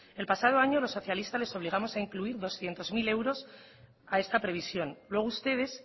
el pasado año los socialistas les obligamos a incluir doscientos mil euros a esta previsión luego ustedes